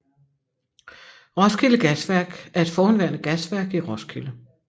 Roskilde Gasværk er et forhenværende gasværk i Roskilde